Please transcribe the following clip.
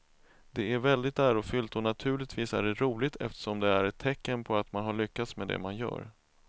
Det är väldigt ärofyllt och naturligtvis är det roligt eftersom det är ett tecken på att man har lyckats med det man gör.